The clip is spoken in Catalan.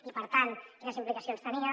i per tant quines implicacions tenia